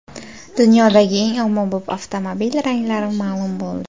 Dunyodagi eng ommabop avtomobil ranglari ma’lum bo‘ldi.